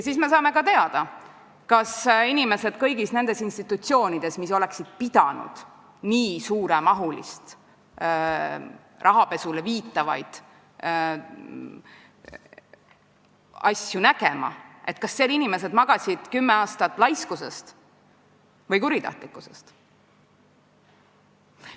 Siis me saame ka teada, kas inimesed kõigis nendes institutsioonides, mis oleksid pidanud nii suuremahulisele rahapesule viitavaid asju nägema, magasid kümme aastat laiskusest või kuritahtlikkusest.